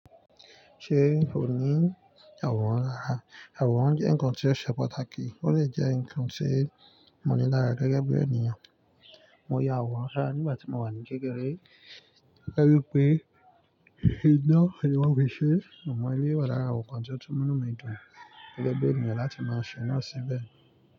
Ṣé ò ní ìyàwòrán rárá? Ìyàwòrán jẹ́ ǹkan tí ó ṣe pàtàkì, ó lè jẹ́ ǹkan tí mo ní lára gẹ́gẹ́ bí ènìyàn. Mo ya àwòrán dada nígbà tí mo wà ní kékeré gẹ́gẹ́ bí pé iná ni wọ́n fi ṣe, àmọ́ eléyìí wa lára àwọn ǹkan tí ó tún múnú mi dùn gẹ́gẹ́ bí ènìyàn láti máa ṣe náà síbẹ̀.